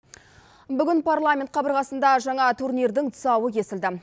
бүгін парламент қабырғасында жаңа турнирдің тұсауы кесілді